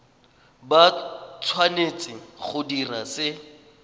ba tshwanetse go dira se